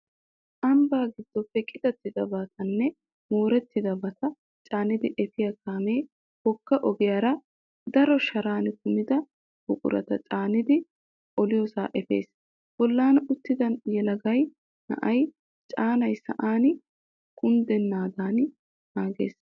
Amabbaa giddoppe qitattidabatanne moorettidabata caanidi efiya kaame wogga ogiyara daro Sharan kumida buurata caanidi oliyoosaa efees. Bollan uttida yelaga na'ay caanay sa'an kunddennaadan naages.